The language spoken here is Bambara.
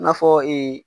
I n'a fɔ